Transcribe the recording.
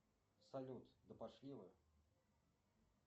салют да пошли вы